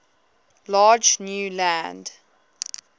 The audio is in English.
large new land